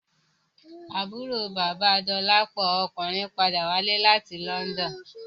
Àbúrò bàba Dolapo ọkùnrin padà wálé láti London